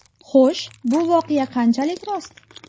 Xo‘sh, bu voqea qanchalik rost?